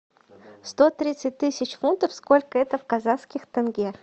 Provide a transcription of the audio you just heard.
сто тридцать тысяч фунтов сколько это в казахских тенге